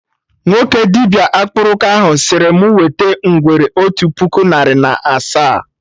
Nwoke dibịa akpụrụka ahụ sịrị mụ wete ngwere otu puku narị na asaa